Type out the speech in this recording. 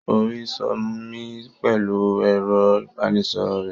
Ó́ rì sómi pẹ̀lú ẹ̀rọ-ìbánisọ̀rọ̀ rẹ̀.